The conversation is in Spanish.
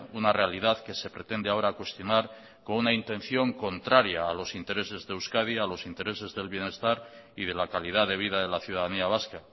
una realidad que se pretende ahora cuestionar con una intención contraria a los intereses de euskadi a los intereses del bienestar y de la calidad de vida de la ciudadanía vasca